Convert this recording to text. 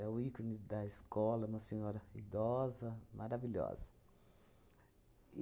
É o ícone da escola, uma senhora idosa, maravilhosa.